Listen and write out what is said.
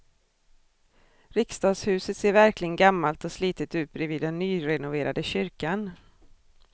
Riksdagshuset ser verkligen gammalt och slitet ut bredvid den nyrenoverade kyrkan.